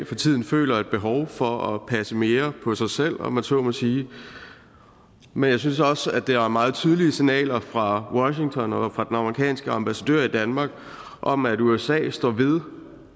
for tiden føler behov for at passe mere på sig selv om man så må sige men jeg synes også at der er meget tydelige signaler fra washington og fra den amerikanske ambassadør i danmark om at usa står ved